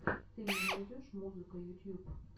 ты мне найдешь музыка ютьюб